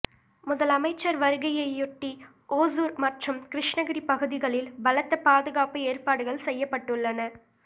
முதலமைச்சர் வருகையையொட்டி ஓசூர் மற்றும் கிருஷ்ணகிரி பகுதிகளில் பலத்த பாதுகாப்பு ஏற்பாடுகள் செய்யப்பட்டுள்ளன